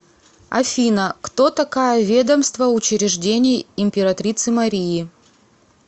афина кто такая ведомство учреждений императрицы марии